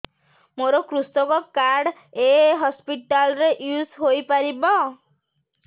ମୋର କୃଷକ କାର୍ଡ ଏ ହସପିଟାଲ ରେ ୟୁଜ଼ ହୋଇପାରିବ